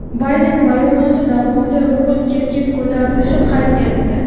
Bayden bayonoti davomida rubl keskin ko‘tarilish qayd etdi.